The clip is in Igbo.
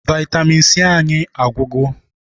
Vaịtamin C anyị agwụla.